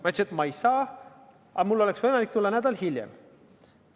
Ma ütlesin, et ma ei saa, aga mul on võimalik tulla nädal hiljem.